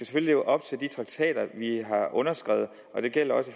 skal leve op til de traktater vi har underskrevet og det gælder også